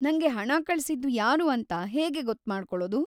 ನಂಗೆ ಹಣ ಕಳಿಸಿದ್ದು ಯಾರು ಅಂತ ಹೇಗೆ ಗೊತ್ಮಾಡ್ಕೊಳೋದು?